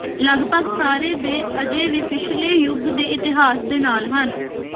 ਲਗਭਗ ਸਾਰੇ ਦੇ ਅਜੇ ਵੀ ਪਿਛਲੇ ਯੁਗ ਦੇ ਇਤਿਹਾਸ ਦੇ ਨਾਲ ਹਨ